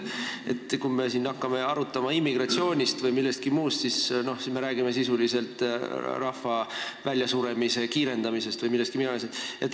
Kui me hakkame siin arutama immigratsiooni või midagi muud, siis me räägime sisuliselt rahva väljasuremise kiirendamisest või millestki sellisest.